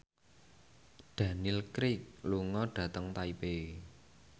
Daniel Craig lunga dhateng Taipei